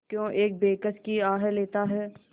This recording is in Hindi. क्यों एक बेकस की आह लेता है